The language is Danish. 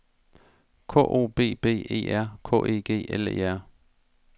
K O B B E R K E G L E R